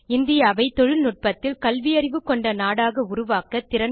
இந்தியாவை தொழில்நுட்பத்தில் கல்வியறிவு கொண்ட நாடாக உருவாக்க திறன்கொண்ட